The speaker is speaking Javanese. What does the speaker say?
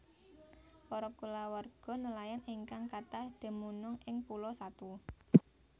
Para kulawarga nelayan ingkang kathah dumunung ing Pulo Satu